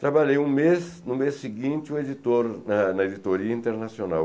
Trabalhei um mês, no mês seguinte, o editor na na editoria internacional.